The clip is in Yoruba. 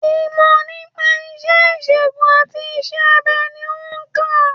Ìmò nípa isé ìsègùn àti isé abe ni o nkà